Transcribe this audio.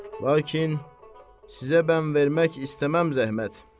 Lakin sizə bən vermək istəməm zəhmət.